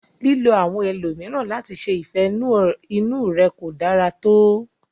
Lílo àwọn ẹlòmíràn láti ṣe ìfẹ inú ẹ ko dára to.